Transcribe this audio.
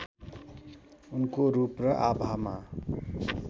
उनको रूप र आभामा